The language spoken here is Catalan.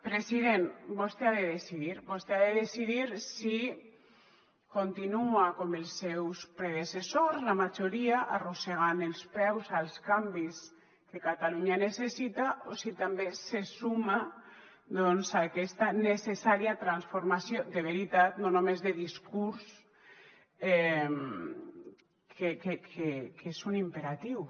president vostè ha de decidir vostè ha de decidir si continua com els seus predecessors la majoria arrossegant els peus als canvis que catalunya necessita o si també se suma doncs a aquesta necessària transformació de veritat no només de discurs que és un imperatiu